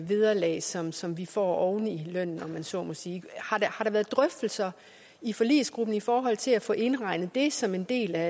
vederlag som som vi får oven i lønnen om man så må sige har der været drøftelser i forligsgruppen i forhold til at få indregnet det som en del af